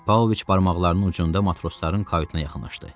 Pavloviç barmaqlarının ucunda matrosların kayutuna yaxınlaşdı.